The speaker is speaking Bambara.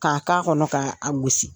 K'a k'a kɔnɔ k'a gosi.